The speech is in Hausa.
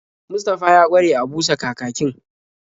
Mustafa ya ƙware a busa kakakin.